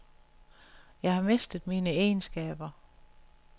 Jeg har mistet mine egenskaber.